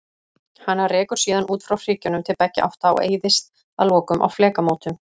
Hana rekur síðan út frá hryggjunum til beggja átta og eyðist að lokum á flekamótum.